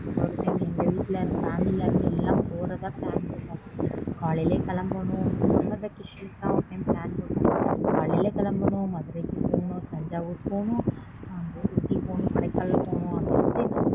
ஒரு time எங்க வீட்டுல ல இருந்து எல்லாம் போறதா plan போட்டோம்